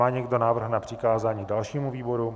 Má někdo návrh na přikázání dalšímu výboru?